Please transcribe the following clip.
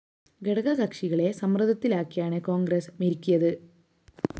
ഘടകകക്ഷികളെ സമ്മര്‍ദ്ദത്തിലാക്കിയാണ് കോണ്‍ഗ്രസ് മെരുക്കിയത്